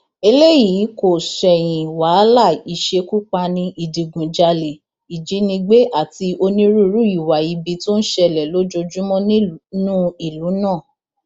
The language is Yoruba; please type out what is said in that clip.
eléyìí kò ṣẹyìn wàhálà ìṣekúpani ìdígunjalè ìjínigbé àti onírúurú ìwà ibi tó ń ṣẹlẹ lójoojúmọ nínú ìlú náà